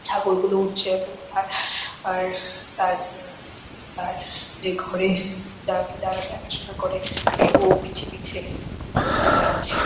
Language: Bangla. ছাগলগুলো উঠছে এইরকম তার তার তার যে ঘরে যাকে দেখাশুনো করে ওর পিছে পিছে যাচ্ছে ।